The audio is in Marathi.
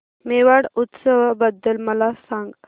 मेवाड उत्सव बद्दल मला सांग